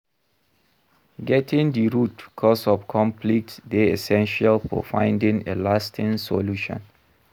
Getting di root cause of conflict dey essential for finding a lasting solution.